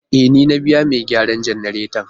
E, ni na biya mai gyaran jannaretan.